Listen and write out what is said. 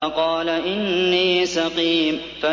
فَقَالَ إِنِّي سَقِيمٌ